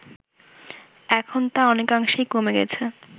এখন তা অনেকাংশেই কমে গেছে